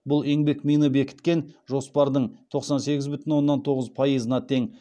бұл еңбекмині бекіткен жоспардың тоқсан сегіз бүтін оннан тоғыз пайызына тең